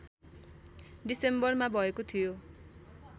डिसेम्बरमा भएको थियो